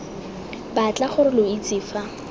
batla gore lo itse fa